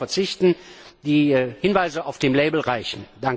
Wir können darauf verzichten, die Hinweise auf dem Etikett reichen.